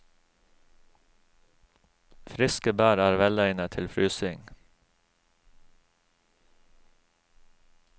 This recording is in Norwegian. Friske bær er velegnet til frysing.